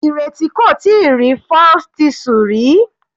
Ireti kò tíì rí falsethistle rí.